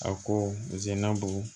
A ko zenna bugu